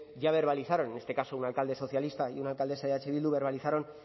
ya verbalizaron en este caso un alcalde socialista y una alcaldesa de eh bildu verbalizaron